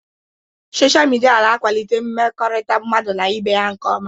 Sochaa midia na akwalite mmekọrịta mmadụ n'ibé ya nkeọma.